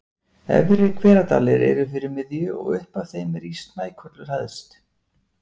Efri-Hveradalir eru fyrir miðju, og upp af þeim rís Snækollur hæst.